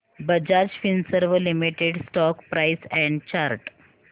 Bajaj Finserv limited stock price and chart